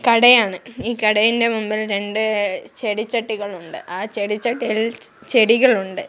കടയാണ് ഈ കടേൻ്റ മുൻപിൽ രണ്ട് ചെടിച്ചട്ടികളുണ്ട് ആ ചെടിച്ചട്ടികളിൽ ചെ ചെടികളുണ്ട്.